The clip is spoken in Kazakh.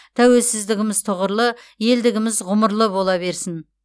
тәуелсіздігіміз тұғырлы елдігіміз ғұмырлы бола берсін